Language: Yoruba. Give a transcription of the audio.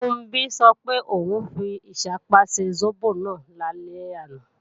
Funbí sọ pé, òun fi ìṣápá ṣe sóbò náà lálẹ́ àná